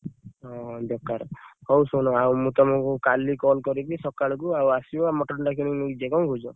ହଁ ବେକାର, ହଉ ଶୁଣ, ଆଉ ମୁଁ ତମକୁ କାଲି call କରିବି! ସକାଳକୁ ଆଉ ଆସିବ mutton ଟା କିଣିକି ନେଇକି ଯିବ କଣ କହୁଛ?